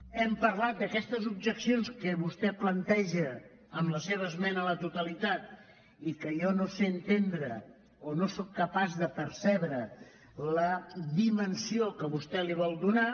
hem parlat d’aquestes objeccions que vostè planteja amb la seva esmena a la totalitat i que jo no sé entendre o no sóc capaç de percebre la dimensió que vostè li vol donar